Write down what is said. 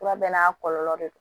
Fura bɛɛ n'a kɔlɔlɔ de don